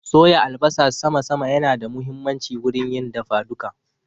Soya albasa sama sama ya na da muhimmanci wurin yin dafa duka